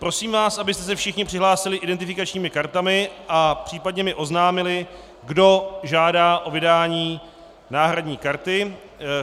Prosím vás, abyste se všichni přihlásili identifikačními kartami a případně mi oznámili, kdo žádá o vydání náhradní karty.